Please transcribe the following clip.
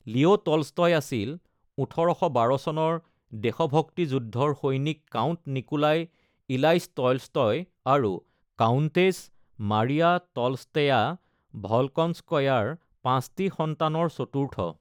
Leo Tolstoy আছিল ১৮১২ চনৰ দেশভক্তি যুদ্ধৰ সৈনিক কাউণ্ট নিকোলাই ইলাইছ টলষ্টয় আৰু কাউণ্টেছ মাৰিয়া টলষ্টেয়া ভলকনস্কয়া ৰ পাঁচটি সন্তানৰ চতুৰ্থ।